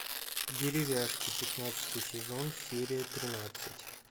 деревяшки пятнадцатый сезон серия тринадцать